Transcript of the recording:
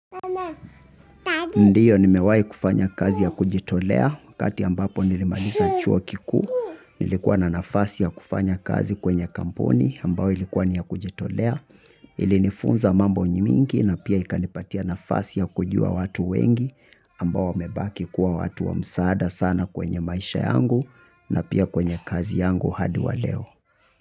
Ndio nimewahi kufanya kazi ya kujitolea wakati ambapo nilimaliza chuo kiku nilikuwa na nafasi ya kufanya kazi kwenye kampuni ambao ilikuwa ni ya kujitolea ilinifunza mambo mingi na pia ikanipatia nafasi ya kujua watu wengi ambao wamebaki kuwa watu wa msaada sana kwenye maisha yangu na pia kwenye kazi yangu hadi wa leo.